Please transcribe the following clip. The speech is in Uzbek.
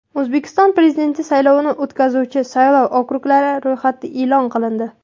O‘zbekiston Prezidenti saylovini o‘tkazuvchi saylov okruglari ro‘yxati e’lon qilindi.